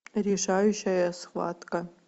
решающая схватка